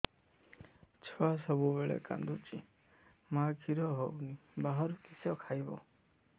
ଛୁଆ ସବୁବେଳେ କାନ୍ଦୁଚି ମା ଖିର ହଉନି ବାହାରୁ କିଷ ଖାଇବ